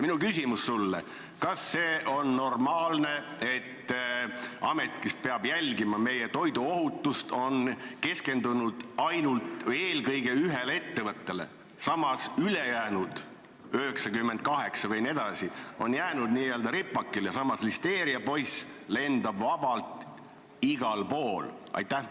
Minu küsimus sulle: kas see on normaalne, et amet, kes peab jälgima meie toiduohutust, on keskendunud ainult või eelkõige ühele ettevõttele, samas ülejäänud 98 on jäänud n-ö ripakile ja listeeriapoiss lendab vabalt igal pool?